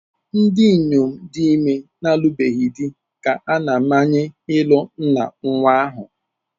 Ndị inyom dị ime na-alụbeghị di ka a na-amanye ịlụ nna nnwa ahụ.